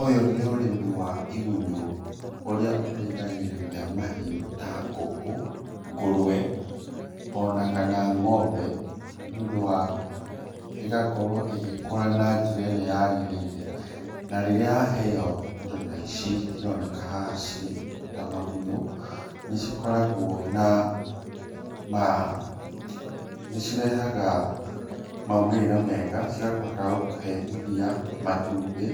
Ũyũ nĩ ũrĩmi wa igunyũ ũrĩa ũteithagĩrĩria mahiũ ta ngũkũ, ngũrwe o na kana ng'ombe, nĩ ũndũ wa, ĩgakorwo ĩgĩkũra na njĩra ĩrĩa yagĩrĩire na rĩrĩa yaheo indo ta ici cironeka haha cirĩ ta magunyũ nĩ cikoragwo na nĩ cirehaga maumĩrĩra mega cigakũhota gũkũhe iria, matumbĩ